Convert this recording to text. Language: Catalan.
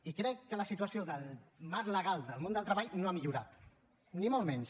i crec que la situació del marc legal del món del treball no ha millorat ni molt menys